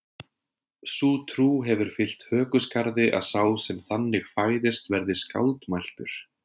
Sú trú hefur fylgt hökuskarði að sá sem þannig fæðist verði skáldmæltur.